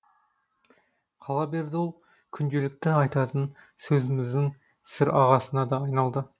қала берді ол күнделікті айтатын сөзіміздің сірағасына да айналды